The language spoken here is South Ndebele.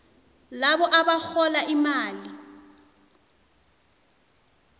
labo abarhola imali